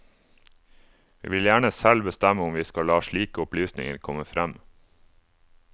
Vi vil gjerne selv bestemme om vi skal la slike opplysninger komme frem.